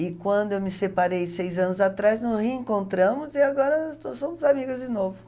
E quando eu me separei seis anos atrás, nos reencontramos e agora somos amigas de novo.